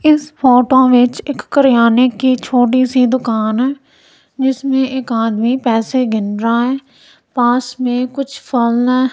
इस फोटो विच एक करियाने की छोटी सी दुकान जिसमें एक आदमी पैसे गिन रहा है पास में कुछ फल है।